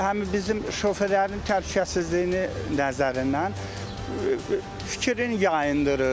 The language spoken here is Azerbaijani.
Bu həm bizim şoferlərin təhlükəsizliyini nəzərindən fikrin yayındırır.